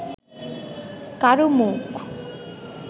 কারও মুখ